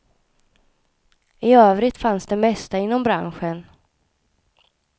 I övrigt fanns det mesta inom branschen.